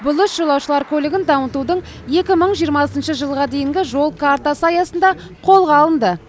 бұл іс жолаушылар көлігін дамытудың екі мың жиырмасыншы жылға дейінгі жол картасы аясында қолға алынды